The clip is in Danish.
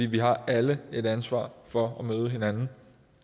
vi har alle et ansvar for at møde hinanden